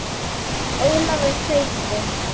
Ólafur Haukur.